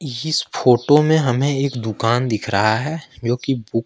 इस फोटो में हमें एक दुकान दिख रहा है जो कि--